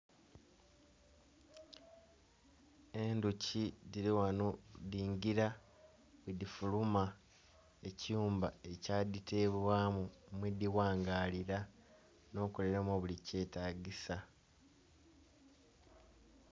Endhoki dhili ghano dhingila bwedhifuluma ekiyumba ekya dhitebwamu mwedhighangaalilra, nokukolera omwo buli kyetagisa.